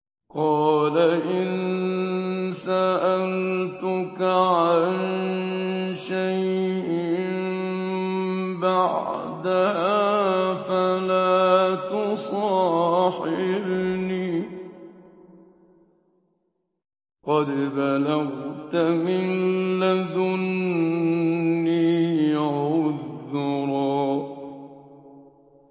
قَالَ إِن سَأَلْتُكَ عَن شَيْءٍ بَعْدَهَا فَلَا تُصَاحِبْنِي ۖ قَدْ بَلَغْتَ مِن لَّدُنِّي عُذْرًا